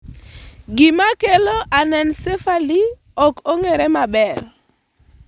Gima kelo anencephaly ok ong'ere maber.